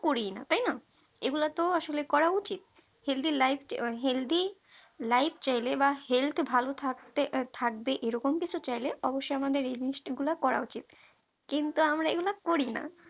করিনা তাই না তাই না এগুলো তো আসলে করা উচিত healthy life কে মানে healthylife চাইলে বা healthy ভালো থাকতে থাকবে এরকম কিছু চাইলে অবশ্যই আমাদের এই জিনিস গুলা করা উচিত কিন্তু আমরা এগুলো করি না